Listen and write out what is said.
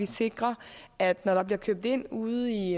sikre at når der bliver købt ind ude i